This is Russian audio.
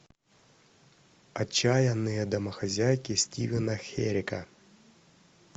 отчаянные домохозяйки стивена херека